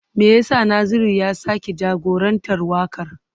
Me yasa Naziru ya sake jagorantar wakar?